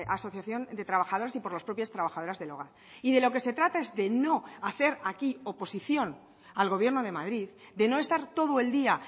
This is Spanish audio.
asociación de trabajadores y por las propias trabajadoras del hogar y de lo que se trata es de no hacer aquí oposición al gobierno de madrid de no estar todo el día